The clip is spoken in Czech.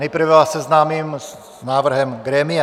Nejprve vás seznámím s návrhem grémia.